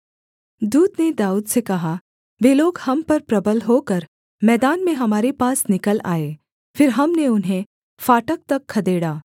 दूत ने दाऊद से कहा वे लोग हम पर प्रबल होकर मैदान में हमारे पास निकल आए फिर हमने उन्हें फाटक तक खदेड़ा